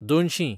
दोनशीं